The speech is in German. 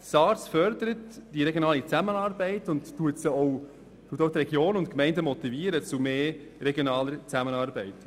SARZ fördert die regionale Zusammenarbeit und motiviert die Regionen und Gemeinden zu mehr regionaler Zusammenarbeit.